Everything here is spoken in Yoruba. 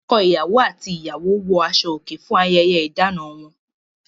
Ọkọ-ìyàwó àti ìyàwó wọ aṣọòkè fún ayẹyẹ ìdáná wọn.